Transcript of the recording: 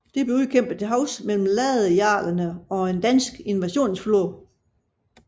Det blev udkæmpet til havs mellem ladejarlerne og en dansk invasionsflåde